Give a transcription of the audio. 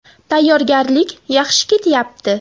Tayyorgarlik yaxshi ketyapti.